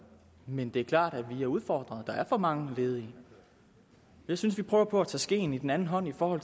men det er klart at vi er udfordret der er for mange ledige jeg synes vi prøver på at tage skeen i den anden hånd for